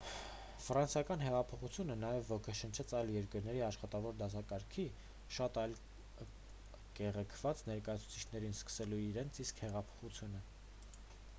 ֆրանսիական հեղափոխությունը նաև ոգեշնչեց այլ երկրների աշխատավոր դասակարգի շատ այլ կեղեքված ներկայացուցիչներին սկսելու իրենց իսկ հեղափոխությունը